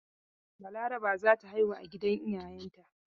Balaraba za ta haihu a gidan iayenta.